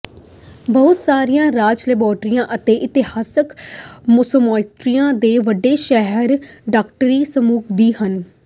ਬਹੁਤ ਸਾਰੀਆਂ ਰਾਜ ਲਾਇਬ੍ਰੇਰੀਆਂ ਅਤੇ ਇਤਿਹਾਸਕ ਸੋਸਾਇਟੀਆਂ ਦੇ ਵੱਡੇ ਸ਼ਹਿਰ ਡਾਇਰੈਕਟਰੀ ਸੰਗ੍ਰਹਿ ਵੀ ਹਨ